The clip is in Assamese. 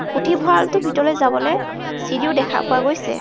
পুথিভঁৰাল তোৰ ভিতৰলৈ যাবলৈ চিৰিও দেখা পোৱা গৈছে.